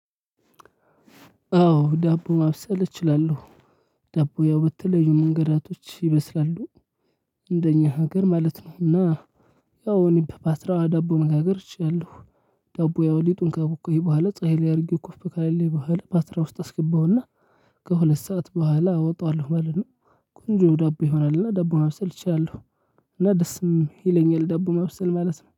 አዎ ዳቦ ማብሰል እችላለሁ። ዳቦ ያው ብተለዩ መንገዳቶች ይበስላሉ። እንደኛ ሀገር ማለት ነው እና ያው እኔ በፓትራ ዳቦ መጋገር እችላለሁ። ዳቦ ያው ሊጡን ካቦካሁኝ በኋላ ፀሀይ ላይ አድርጌው ኮፍ ካለልኝ በኋላ ፓትራ ውስጥ አስገባውና ከሁለት ሰዓት በኋላ አወጣዋለሁ ማለት ነው። ቆንጆ ዳቦ ይሆናል እና ዳቦ ማብሰል እችላለው። እና ደስም ይለኛል ዳቦ ማብሰል ማለት ነው